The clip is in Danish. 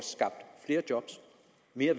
vi har